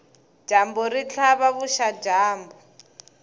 dyambu ri tlhava vuxadyambu